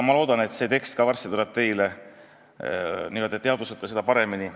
Ma loodan, et see tekst jõuab varsti ka teieni ja te teadvustate seda paremini.